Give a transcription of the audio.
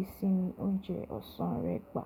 ìsinmi oúnjẹ ọ̀sán rẹ gba?